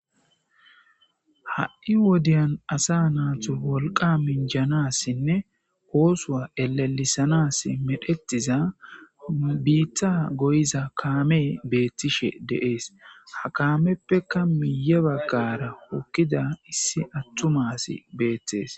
Ha'i wodeyan asa natos wolqa minjanasinne oosowa elelesanansinne medhdhetiza bita goyiza kamey betishe de'es hakamepeka miye bagara hokida issi atuma asi betes